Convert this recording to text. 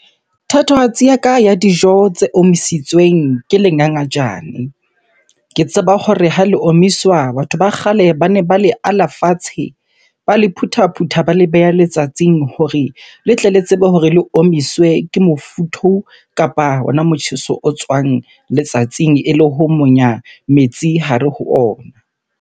Thatohatsi ya ka ya dijo tse omisitsweng ke le ngangajane. Ke tseba hore ha le omiswa, batho ba kgale bane ba le ala fatshe, ba le phutha-phutha, ba le beha letsatsing hore le tle le tsebe hore le omiswe ke mofuthu kapa hona motjheso o tswang letsatsing ele ho monya metsi hare ho ona.